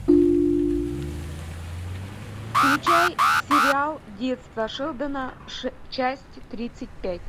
включай сериал детство шелдона часть тридцать пять